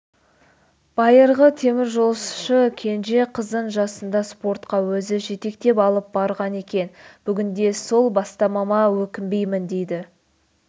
байырғы теміржолшы кенже қызын жасында спортқа өзі жетектеп алып барған екен бүгінде сол бастамама өкінбеймін дейді